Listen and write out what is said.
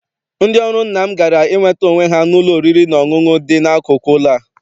Ndị ọrụ nna m gara inweta onwe ha n'ụlọ oriri na ọṅụṅụ dị n'akụkụ ụlọ a.